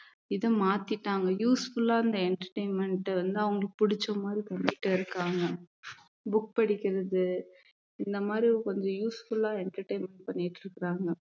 இதை மாத்திட்டாங்க useful ஆ அந்த entertainment வந்து அவங்களுக்கு பிடிச்ச மாதிரி பண்ணிட்டு இருக்காங்க book படிக்கிறது இந்த மாதிரி கொஞ்சம் useful ஆ entertainment பண்ணிட்டு இருக்குறாங்க